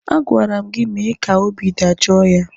A gwara m gị mee ka obi dajoo ya!